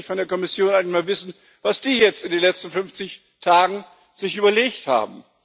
Und da möchte ich von der Kommission einmal wissen, was die sich jetzt in den letzten 50 Tagen überlegt haben.